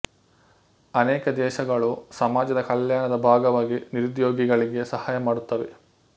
ಅನೇಕ ದೇಶಗಳು ಸಾಮಾಜ ಕಲ್ಯಾಣದ ಭಾಗವಾಗಿ ನಿರುದ್ಯೋಗಿಗಳಿಗೆ ಸಹಾಯ ಮಾಡುತ್ತವೆ